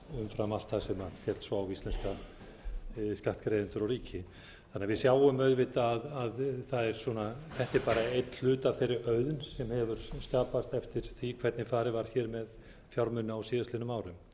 umfram allt það sem féll svo á íslenska skattgreiðendur og ríki þannig að við sjáum auðvitað að það er svona þetta er bara einn hluti af þeirri auðn sem hefur skapast eftir því hvernig farið var hér með fjármuni á síðastliðnum árum